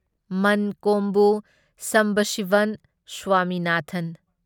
ꯑꯟꯀꯣꯝꯕꯨ Sambasivan Swaminathan